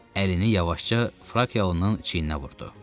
Əlini yavaşca Frakiyalıın çiyininə vurdu.